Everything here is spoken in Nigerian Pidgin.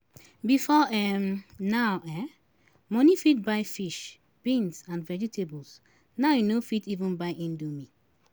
Before um now um money fit buy fish, beans, and vegetables, now e no fit even buy indomie